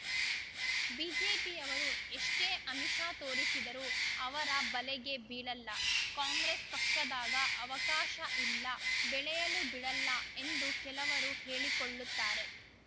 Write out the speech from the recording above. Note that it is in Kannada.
ಬಿಜೆಪಿಯವರು ಎಷ್ಟೇ ಆಮಿಷ ತೋರಿಸಿದರೂ ಅವರ ಬಲೆಗೆ ಬೀಳಲ್ಲ ಕಾಂಗ್ರೆಸ್‌ ಪಕ್ಷದಾಗ ಅವಕಾಶ ಇಲ್ಲ ಬೆಳೆಯಲು ಬಿಡಲ್ಲ ಎಂದು ಕೆಲವರು ಹೇಳಿಕೊಳ್ಳುತ್ತಾರೆ